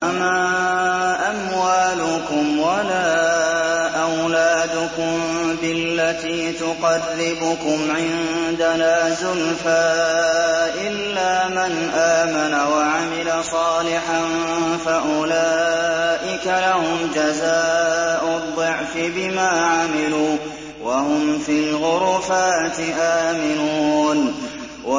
وَمَا أَمْوَالُكُمْ وَلَا أَوْلَادُكُم بِالَّتِي تُقَرِّبُكُمْ عِندَنَا زُلْفَىٰ إِلَّا مَنْ آمَنَ وَعَمِلَ صَالِحًا فَأُولَٰئِكَ لَهُمْ جَزَاءُ الضِّعْفِ بِمَا عَمِلُوا وَهُمْ فِي الْغُرُفَاتِ آمِنُونَ